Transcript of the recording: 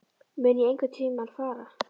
Mun ég einhverntímann fara?